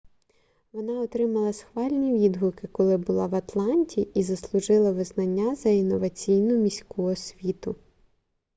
вона отримала схвальні відгуки коли була в атланті і заслужила визнання за інноваційну міську освіту